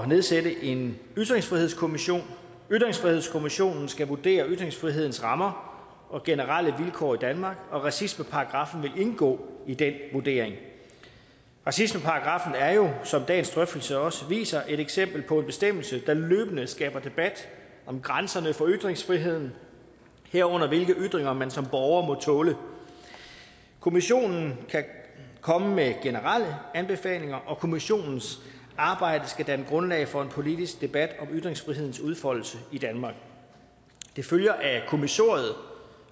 nedsætte en ytringsfrihedskommission ytringsfrihedskommissionen skal vurdere ytringsfrihedens rammer og generelle vilkår i danmark og racismeparagraffen vil indgå i den vurdering racismeparagraffen er jo som dagens drøftelse også viser et eksempel på en bestemmelse der løbende skaber debat om grænserne for ytringsfriheden herunder hvilke ytringer man som borger må tåle kommissionen kan komme med generelle anbefalinger og kommissionens arbejde skal danne grundlag for en politisk debat om ytringsfrihedens udfoldelse i danmark det følger af kommissoriet